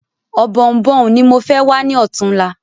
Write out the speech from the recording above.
Ọ̀bọ̀ọ̀nbọ̀ọ̀n ni mo fẹ wá ní ọ̀túnla